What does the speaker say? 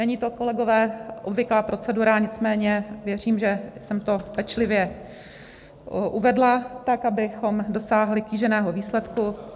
Není to, kolegové, obvyklá procedura, nicméně věřím, že jsem to pečlivě uvedla, tak abychom dosáhli kýženého výsledku.